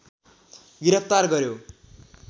गिरफ्तार गर्‍यो